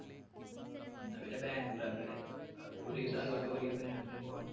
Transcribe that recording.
എന്ന പിന്നെ ബാംഗ്ളൂർ ആക്കാ ല്ലേ അപ്പൊ ഒരു ദിവസം അങ്ങോട്ടും ഒരു ദിവസം ഇങ്ങോട്ടും പോകാം.